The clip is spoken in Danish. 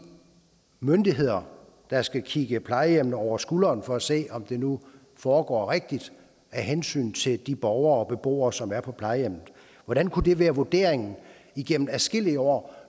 myndigheder der skal kigge plejehjemmene over skulderen for at se om det nu foregår rigtigt af hensyn til de borgere og beboere som er på plejehjem hvordan kunne det være vurderingen igennem adskillige år